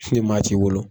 Ni maa t'i bolo